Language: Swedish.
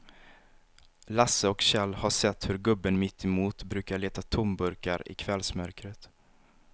Lasse och Kjell har sett hur gubben mittemot brukar leta tomburkar i kvällsmörkret.